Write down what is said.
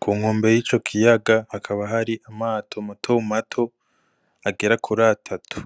ku nkombe y'ico kiyaga hakaba hari amato mato mato agera kuri atatu.